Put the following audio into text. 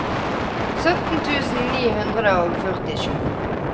sytten tusen ni hundre og førtisju